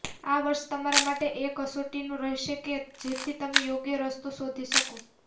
આ વર્ષ તમારા માટે એ કસોટીનો રહેશે કે જેથી તમે યોગ્ય રસ્તો શોધી શકો